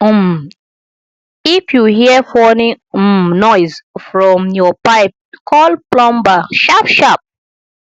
um if you hear funny um noise from your pipe call plumber sharpsharp